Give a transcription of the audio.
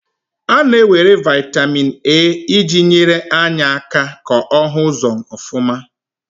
A na-ewere vitamin A iji nyere anya aka ko ohu uzo ofuma.